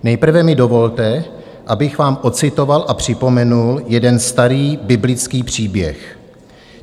Nejprve mi dovolte, abych vám ocitoval a připomenul jeden starý biblický příběh.